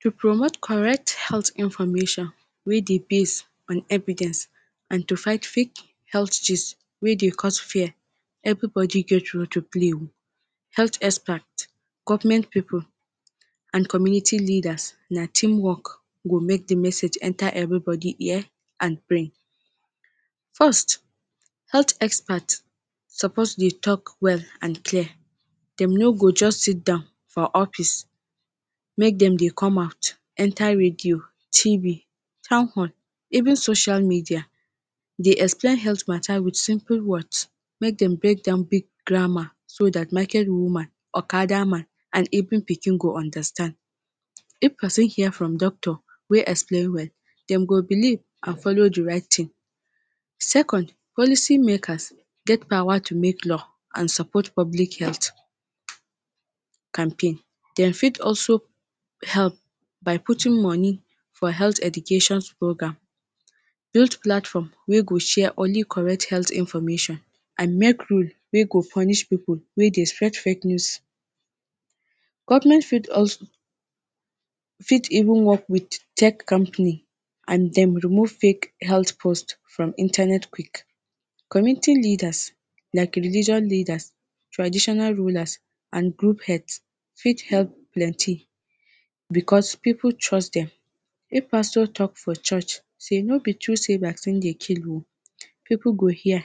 to promot correct health information wey dey based on envidence and to fight fate health gist wey dey cause fear everybodi get role to play o health expert government pipo and community leaders na team work go make di message enta everibodi ear and brain first health expert suppose dey tok well and clear dem no go just sit down for office make dem dey com out enter radio, tv, town hall, even social media dey explain heath mata wit simple words make dem break down big grammar so dat market woman, okada man, and evbin pikin go understand, if pesin hear from doctor wey explain well dem go beliv and follow di right tin. second policy makers get power tu make law and support public health campaign, dem fit also help by putin moni for health education program, build platform wey go share only correct health information and make rule wey go funish pipo wey dey sfred fake news government fit uz fit even work wit check campany and den remove fake health post from internet quick. community leaders like religioun leaders, trditional rulers and group het fit help plenty bcos pipo trust dem. if pastor tok for church say no be tru savers e dey kill o pipo go hear,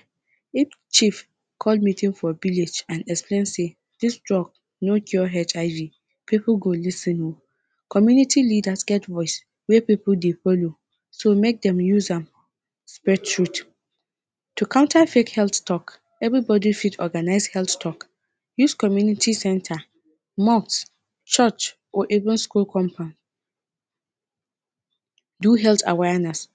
if chief call meeting for billage and explain say dis drug no cure HIV pipo go lisin o, community leaders ger voice wey pipo dey follow so make dem use am spel trut. to counter fake health tok everi bodi fit organize health tok use community center, mosque church or even skull compound do health awayeness,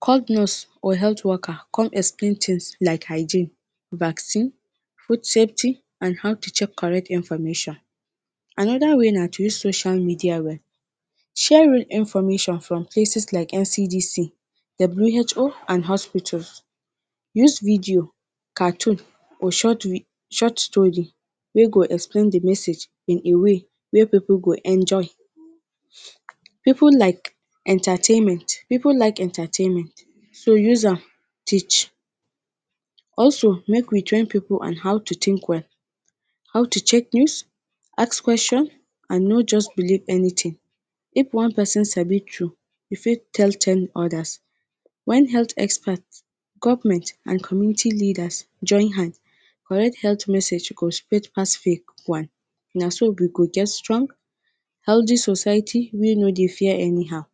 call nurse or health worker con explain tins like hygiene, backsin, bood shapty and how to check correct information. anoda way na tru social media we sharing information from places like NCDC, WHO and hauspitols, use video, cartoon or short vi short stori wey go explain di message in a way wey pipo go enjoy, pipo like entertainment, pipo like entertainment so use am teach. and also make we join pipo on how to tink well, how tu check news, ask question and no just beliv anytin, if one person sabi tu e fi tell ten odas wen health expert, government and community leaders join hand correct heath message go sred pass fake one na so we go dey strong, healthy society wey no dey fear anyhow